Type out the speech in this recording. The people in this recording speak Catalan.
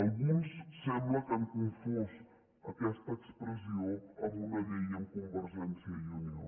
alguns sembla que han confós aquesta expressió amb una llei amb convergència i unió